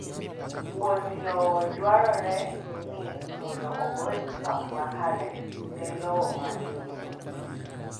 Wuon lowo dwarore ni mondo ogol twak makare ne lowo ma iuso